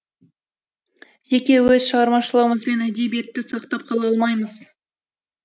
жеке өз шығармашылығымызбен әдебиетті сақтап қала алмаймыз